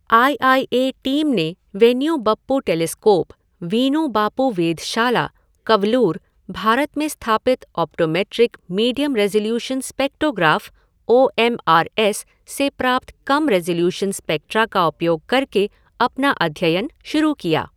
I I A team ने Vainu Bappu telescope, Vainu Bappu वेधशाला, कवलूर, भारत में स्थापित optometric medium resolution spectrograph O M R S से प्राप्त कम रिज़ोल्यूशन स्पेक्ट्रा का उपयोग करके अपना अध्यनन शुरू किया।